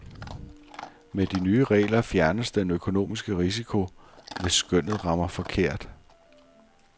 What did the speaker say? Med de nye regler fjernes den økonomiske risiko, hvis skønnet rammer forkert.